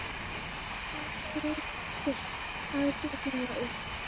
Sumarið lítur ágætlega út.